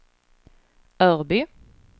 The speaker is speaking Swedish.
Örby